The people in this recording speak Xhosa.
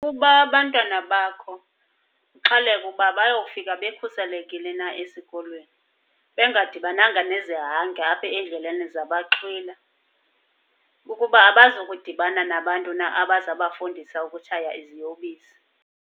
Ukuba abantwana bakho uxhaleke uba bayofika bekhuselekile na esikolweni, bengadibananga nezihange apha endleleni zabaxhwila. Kukuba abazukudibana nabantu na abazabafundisa ukutshaya iziyobisi.